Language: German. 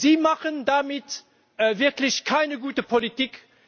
Sie machen damit wirklich keine gute Politik.